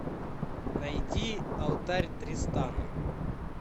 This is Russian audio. найди алтарь тристана